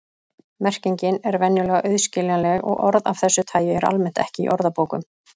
Merkingin er venjulega auðskiljanleg og orð af þessu tagi eru almennt ekki í orðabókum.